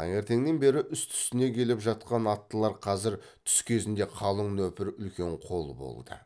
таңертеңнен бері үсті үстіне келіп жатқан аттылар қазір түс кезінде қалың нөпір үлкен қол болды